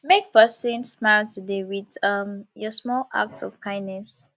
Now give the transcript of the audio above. make pesin smile today with um your small acts of kindness